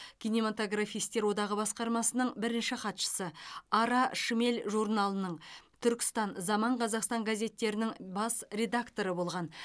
кинематографистер одағы басқармасының бірінші хатшысы ара шмель журналының түркістан заман қазақстан газеттерінің бас редакторы болған